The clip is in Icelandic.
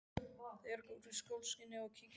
Þær arka út í sólskinið og kíkja í fleiri búðir.